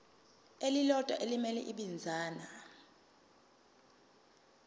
elilodwa elimele ibinzana